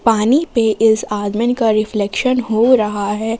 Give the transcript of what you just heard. पानी पे इस आदमी का रिफ्लेक्शन हो रहा है।